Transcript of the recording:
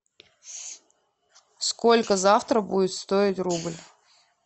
сколько завтра будет стоить рубль